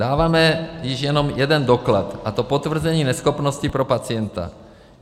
Dáváme již jenom jeden doklad, a to potvrzení neschopnosti pro pacienta.